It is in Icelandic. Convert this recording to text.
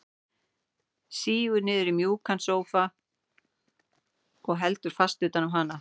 Sígur niður í mjúkan sófa og heldur fast utan um hana.